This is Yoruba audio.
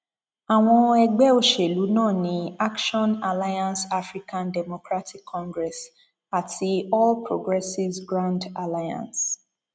àwọn ẹgbẹ òṣèlú náà ní action alliance african democratic congress àti all progressives grand alliance